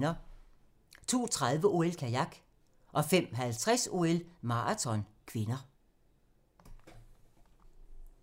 02:30: OL: Kajak 05:50: OL: Maraton (k)